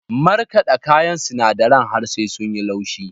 Markaɗa kayan sinadaren har sai sun yi laushi.